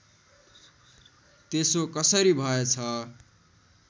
त्यसो कसरी भएछ